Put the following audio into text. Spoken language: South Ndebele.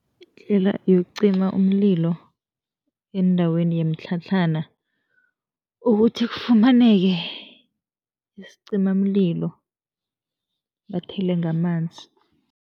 Indlela yokucima umlilo eendaweni yemitlhatlhana ukuthi kufumaneke isicimamlilo, bathele ngamanzi.